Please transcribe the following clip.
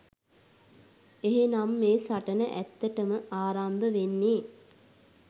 එහෙනම් මේ සටන ඇත්තටම ආරම්භ වෙන්නේ